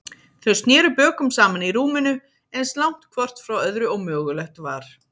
Þau sneru bökum saman í rúminu, eins langt hvort frá öðru og mögulegt var.